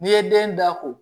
N'i ye den da ko